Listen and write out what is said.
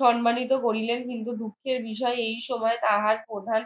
সম্মানিত করিলেন কিন্তু দুঃখের বিষয় এই সময়ে তাহার প্রধান